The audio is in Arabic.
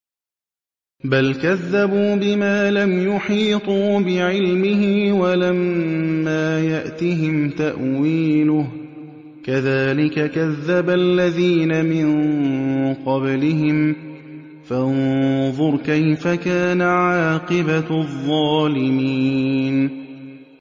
بَلْ كَذَّبُوا بِمَا لَمْ يُحِيطُوا بِعِلْمِهِ وَلَمَّا يَأْتِهِمْ تَأْوِيلُهُ ۚ كَذَٰلِكَ كَذَّبَ الَّذِينَ مِن قَبْلِهِمْ ۖ فَانظُرْ كَيْفَ كَانَ عَاقِبَةُ الظَّالِمِينَ